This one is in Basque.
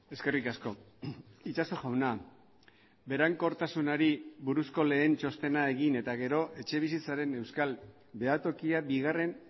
eskerrik asko itsaso jauna berankortasunari buruzko lehen txostena egin eta gero etxebizitzaren euskal behatokia bigarren